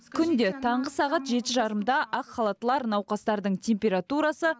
күнде таңғы сағат жеті жарымда ақ халаттылар науқастардың температурасы